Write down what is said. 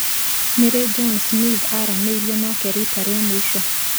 Nĩ rĩ John Smith aaranĩirio nake riita rĩa mũico